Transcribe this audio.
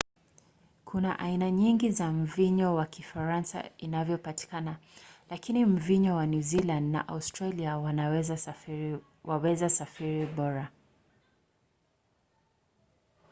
kuna aina nyingi za mvinyo wa kifaransa inavyopatikana lakini mvinyo wa new zealand na australia waweza safiri bora